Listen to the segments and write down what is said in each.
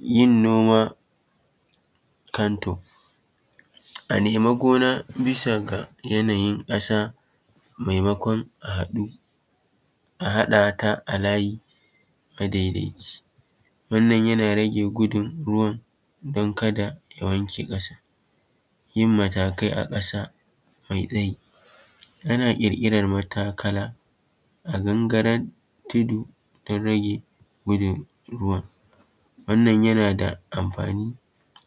Yin noma kanto: A nema gona bisa ga yanayin ƙasa maimakon a haɗu a haɗa ta a layi madaidaici. Wannan yana rage gudun ruwan don kada ya wanke ƙasan. Yin matakai a ƙasa mai tsayi; Ana ƙirƙirar matakala a gangarar tudu don rage gudun ruwan. Wannan yana da amfani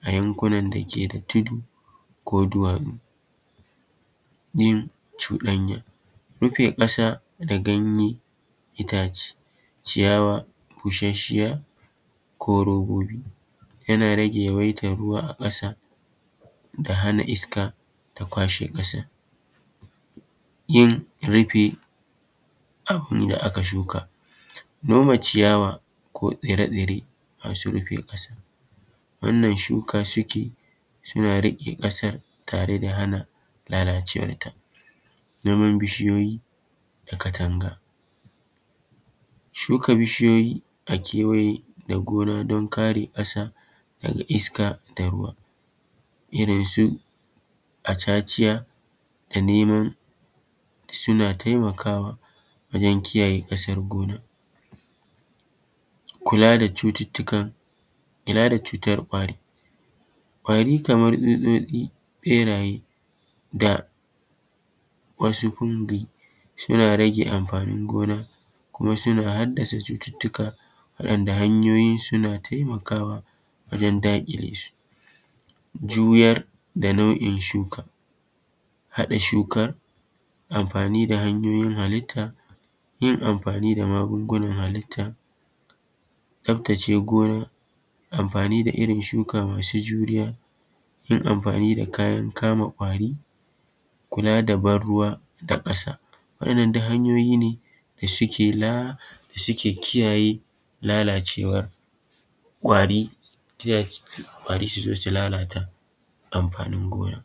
a yankunan dake da tudu ko duwatsu. Yin cuɗanya; Rufe ƙasa da ganye, itace, ciyawa, bushasshiya ko robobi, yana rage yawaitar ruwa a ƙasa da hana iska ta kwashe ƙasan. Yin rufin abin da aka shuka; Noma ciyawa, ko tsire-tsire masu rufe ƙasa, wannan shuka suke suna riƙe ƙasar tare da hana lalacewarta. Noman bishiyoyi da Katanga; shuka bishiyoyi a kewaye da gona don kare ƙasa daga iska da ruwa, irinsu acaciya da nemo suna taimakawa wajen kiyaye ƙasar gona. Kula da cututtukan, kula da cutar ƙwari; Ƙwari kamar tsutsotsi, ɓeraye da wasu huldi suna rage amfanin gona kuma suna haddasa cututtuka waɗanda hanyoyinsu na taimakawa wajen daƙile su. Juyar da nau’in shuka; Haɗa shukar, amfani da hanyoyin halitta, yin amfani da magungunan halitta, tsaftace gona, amfani da irin shuka masu juriya, yin amfani da kayan kama ƙwari, kula da ban ruwa da ƙasa. Waɗannan duk hanyoyi ne da suke la da suke kiyaye lalacewar ƙwari, ƙwari su zo su lalata amfanin gona.